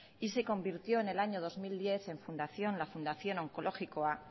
y se convirtió en el año dos mil diez en fundación la fundación onkologikoa